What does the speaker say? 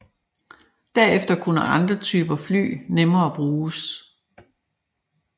Derefter kunne andre typer fly nemmere bruges